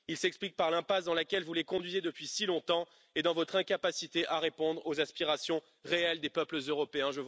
Il s'explique par l'impasse dans laquelle vous les conduisez depuis si longtemps et dans votre incapacité à répondre aux aspirations réelles des peuples européens.